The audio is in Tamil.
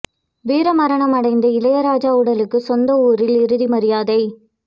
வீர மரணம் அடைந்த இளையராஜா உடலுக்கு சொந்த ஊரில் இறுதி மரியாதை